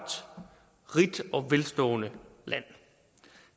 rigt og velstående land